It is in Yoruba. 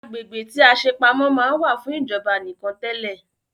Agbègbè tí a ṣe pamọ́ máa ń wà fún ìjọba nìkan tẹle